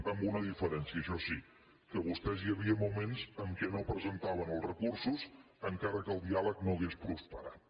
amb una diferència això sí que vostès hi havia moments en què no presentaven els recursos encara que el diàleg no hagués prosperat